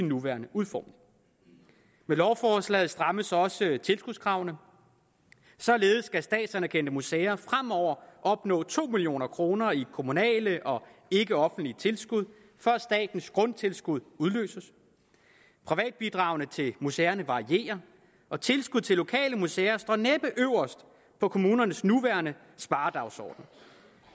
nuværende udformning med lovforslaget strammes også tilskudskravene således skal statsanerkendte museer fremover opnå to million kroner i kommunale og ikkeoffentlige tilskud for at statens grundtilskud udløses privatbidragene til museerne varierer og tilskud til lokale museer står næppe øverst på kommunernes nuværende sparedagsorden